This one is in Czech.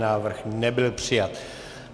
Návrh nebyl přijat.